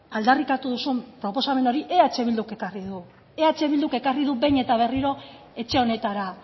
aldarrikatu duzun proposamenari eh bilduk ekarri du eh bilduk ekarri du behin eta berriro etxe honetara